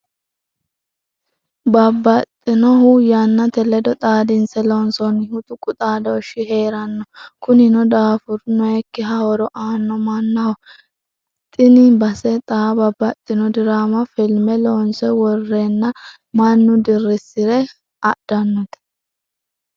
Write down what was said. Babbaxxinohu yannate ledo xaadinse loonsonihu tuqu xaadoshi heeranno kunino daafuru noyikkiha horo aano mannaho xini base xa babbaxxino dirama filime loonse worrenna mannu dirisire adhanote.